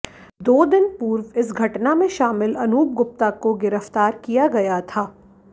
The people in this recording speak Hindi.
दो दिन पूर्व इस घटना में शामिल अनूप गुप्ता को गिरफ्तार किया गया था